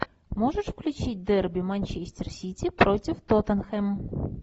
можешь включить дерби манчестер сити против тоттенхэм